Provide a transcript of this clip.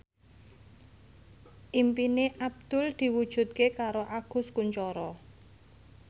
impine Abdul diwujudke karo Agus Kuncoro